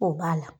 O b'a la